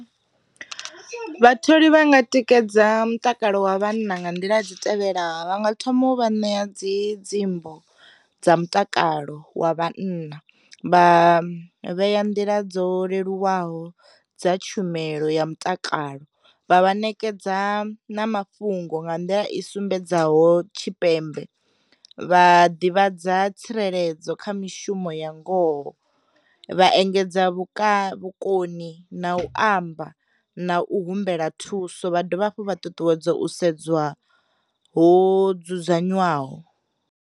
Vhatholi vhanga tikedza mutakalo wa vhanna nga nḓila dzi tevhelaho. Vha nga thoma u vha ṋea dzi dziimbo dza mutakalo wa vhanna vha vhea nḓila dzo leluwaho dza tshumelo ya mutakalo, vha vha nekedza na mafhungo nga nḓila i sumbedzaho tshipembe, vha ḓivha dza tsireledzo kha mishumo ya ngoho, vha engedza vhuka vhukoni na u amba na u humbela thuso vha dovha hafhu vha ṱuṱuwedza u sedzwa ho dzudzanyiwaho.